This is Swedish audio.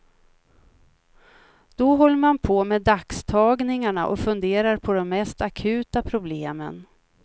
Då håller man på med dagstagningarna och funderar på de mest akuta problemen.